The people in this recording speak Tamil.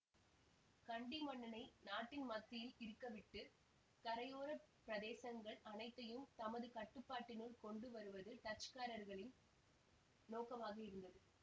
கண்டி மன்னனை நாட்டின் மத்தியில் இருக்கவிட்டு கரையோர பிரதேசங்கள் அனைத்தையும் தமது கட்டுப்பாட்டினுள் கொண்டு வருவது டச்சுக்காரர்களின் நோக்கமாக இருந்தது